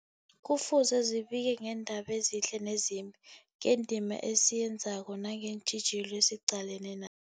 Kufuze zibike ngeendaba ezihle nezimbi, ngendima esiyenzako nangeentjhijilo esiqalene na